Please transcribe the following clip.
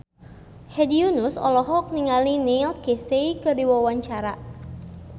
Hedi Yunus olohok ningali Neil Casey keur diwawancara